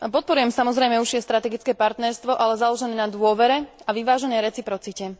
Podporujem samozrejme užšie strategické partnerstvo, ale založené na dôvere a vyváženej reciprocite.